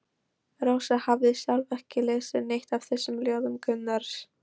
Rósa hafði sjálf ekki lesið neitt af þessum ljóðum Gunnars.